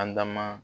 An da ma